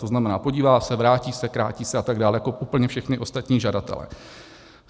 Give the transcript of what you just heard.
To znamená, podívá se, vrátí se, krátí se a tak dále, jako úplně všichni ostatní žadatelé.